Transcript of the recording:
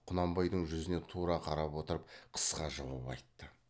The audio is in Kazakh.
құнанбайдың жүзіне тура қарап отырып қысқа жауап айтты